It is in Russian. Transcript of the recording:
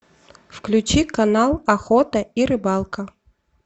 включи канал охота и рыбалка